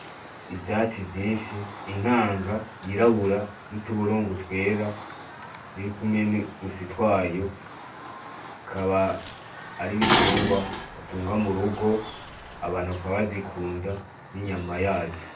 Ivyatsi vyinshi, inkanga y'irabura n'utuburungu twera, ririkumwo n'uduswi twayo ikaba ari igitungwa batunga m'urugo abantu bakaba bazikunda n'inyama yazo.